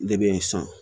Ne bɛ n san